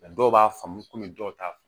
dɔw b'a faamu komi dɔw t'a faamu